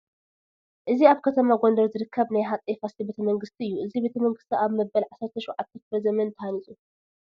እዚ ኣብ ከተማ ጎንደር ዝርከብ ናይ ሃፀይ ፋሲል ቤተ መንግስቲ እዩ፡፡ እዚ ቤተ መንግስቲ ኣብ መበል ዓሰርተ ሸውዓተ ክፍለ ዘመን እዩ ተሃኒፁ፡፡